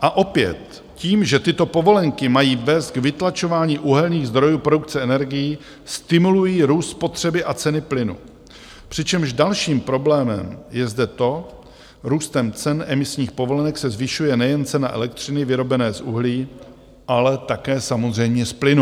A opět, tím, že tyto povolenky mají vést k vytlačování uhelných zdrojů produkce energií, stimulují růst spotřeby a ceny plynu, přičemž dalším problémem je zde to - růstem cen emisních povolenek se zvyšuje nejen cena elektřiny vyrobené z uhlí, ale také samozřejmě z plynu.